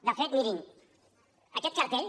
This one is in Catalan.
de fet mirin aquest cartell